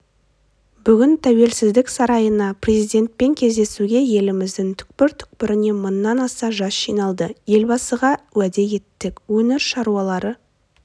бүгін тәуелсіздік сарайына президентпен кездесуге еліміздің түкпір-түкпірінен мыңнан аса жас жиналды елбасыға уәде еттік өңір шаруалары